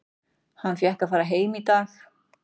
Hann fékk að fara heim í dag.